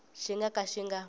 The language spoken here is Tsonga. xi nga ka xi nga